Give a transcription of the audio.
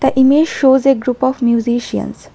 The image shows a group of musicians.